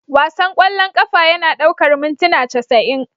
Wasan ƙwallon ƙafa yana ɗaukar mintuna casa'in